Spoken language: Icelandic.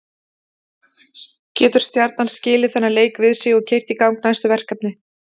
Getur Stjarnan skilið þennan leik við sig og keyrt í gang næstu verkefni?